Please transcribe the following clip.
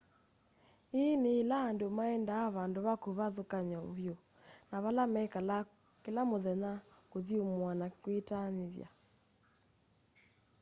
ĩĩ nĩ ĩla andũ maendaa vandũ ve kĩvathũkany'o vyũ na vala mekalaa kĩla mũthenya kũthyũmũa na kwĩtaanĩthya